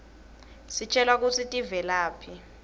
sitjelwa kutsi tivelaphi